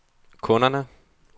kunderne